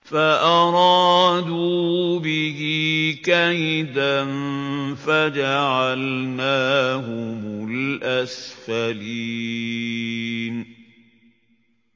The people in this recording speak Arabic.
فَأَرَادُوا بِهِ كَيْدًا فَجَعَلْنَاهُمُ الْأَسْفَلِينَ